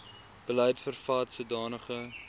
beleid vervat sodanige